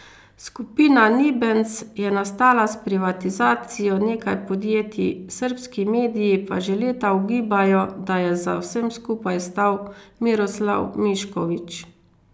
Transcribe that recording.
Skupina Nibens je nastala s privatizacijo nekaj podjetij, srbski mediji pa že leta ugibajo, da je za vsem skupaj stal Miroslav Mišković.